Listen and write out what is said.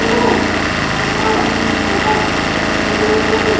Hello ఇక్కడ పెద్ద TV ఉన్నది.